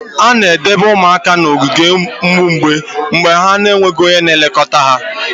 A na-edobe ụmụaka n'ogige ụmụ mgbei mgbe ha na-enweghị onye na-elekọta ha.